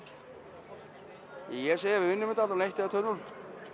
ég segi að við vinnum þetta eitt eða tvö núll